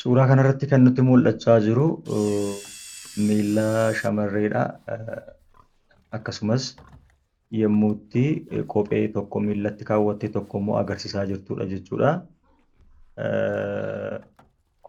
Suuraa kan irratti nutti mul'achaa kan jiru miilla shamarreeti. Akkasumas yeroo kophee tokko miillatti kaawwachuun tokko immoo of irraa baaftee jirtu kan agarsiisuu dha.